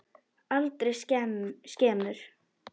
Aldrei skemur.